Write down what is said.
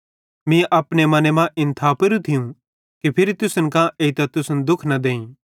मीं अपने मने मां इन थापेरू थियूं कि फिरी तुसन कां एइतां तुसन दुःख न देईं